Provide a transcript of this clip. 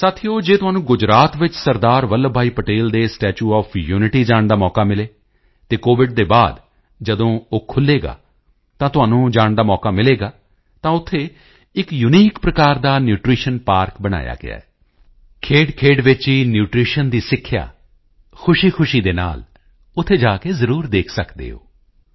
ਸਾਥੀਓ ਜੇ ਤੁਹਾਨੂੰ ਗੁਜਰਾਤ ਵਿੱਚ ਸਰਦਾਰ ਵੱਲਭ ਭਾਈ ਪਟੇਲ ਦੇ ਸਟੈਚੂ ਓਐਫ ਯੂਨਿਟੀ ਜਾਣ ਦਾ ਮੌਕਾ ਮਿਲੇ ਅਤੇ ਕੋਵਿਡ ਦੇ ਬਾਅਦ ਜਦੋਂ ਉਹ ਖੁੱਲ੍ਹੇਗਾ ਤਾਂ ਤੁਹਾਨੂੰ ਜਾਣ ਦਾ ਮੌਕਾ ਮਿਲੇਗਾ ਤਾਂ ਉੱਥੇ ਇੱਕ ਯੂਨੀਕ ਪ੍ਰਕਾਰ ਦਾ ਪਾਰਕ ਬਣਾਇਆ ਗਿਆ ਹੈ ਖੇਡਖੇਡ ਵਿੱਚ ਹੀ ਨਿਊਟ੍ਰੀਸ਼ਨ ਦੀ ਸਿੱਖਿਆ ਖੁਸ਼ੀਖੁਸ਼ੀ ਦੇ ਨਾਲ ਉੱਥੇ ਜਾ ਕੇ ਜ਼ਰੂਰ ਦੇਖ ਸਕਦੇ ਹੋ